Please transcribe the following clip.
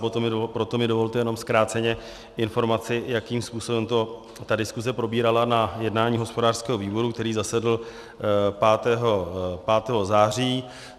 Proto mi dovolte jenom zkráceně informaci, jakým způsobem ta diskuse probírala na jednání hospodářského výboru, který zasedl 5. září.